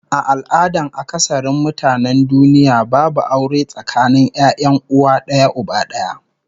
A al'adan akasarin mutanen duniya babu aure tsakanin 'ya'yan uwa d'aya uba d'aya